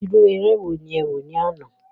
Irú eré wo ni ẹ wò ní àná.